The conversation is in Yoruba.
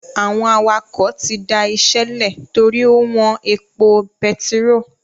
Àwọn awakọ̀ tí dá ìṣe lè torí ó wọn epo bẹtiró